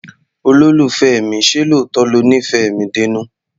Olólùfẹ́ mi, ṣé lóòótọ́ lo nífẹ̀ẹ́ mi dénú?